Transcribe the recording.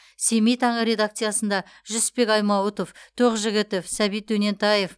семей таңы редакциясында жүсіпбек аймауытов тоқжігітов сәбит дөнентаев